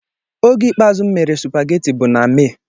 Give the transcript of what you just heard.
Oge ikpeazụ m mere spageti bụ na May.